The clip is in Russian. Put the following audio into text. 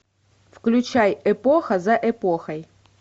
включай эпоха за эпохой